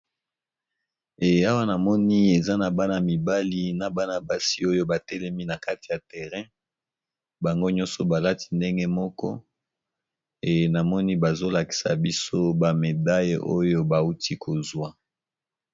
Eee awa namoni ezanaba mibali na bana basi oyo batelemi nakati ya terre bangonyoso balati ndenge moko eee namoni bazolakisabiso ba médaille bawuti kozuwa